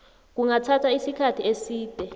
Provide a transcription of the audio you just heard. kungathatha isikhathi eside